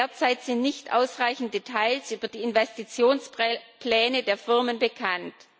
Derzeit sind nicht ausreichend Details über die Investitionspläne der Firmen bekannt.